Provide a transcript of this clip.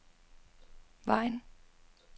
Vejen